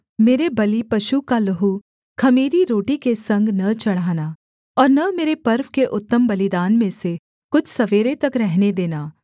मेरे बलिपशु का लहू ख़मीरी रोटी के संग न चढ़ाना और न मेरे पर्व के उत्तम बलिदान में से कुछ सवेरे तक रहने देना